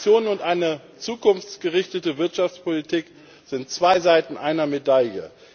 Investitionen und eine zukunftsgerichtete Wirtschaftspolitik sind zwei Seiten einer